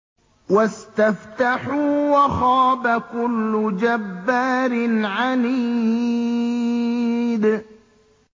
وَاسْتَفْتَحُوا وَخَابَ كُلُّ جَبَّارٍ عَنِيدٍ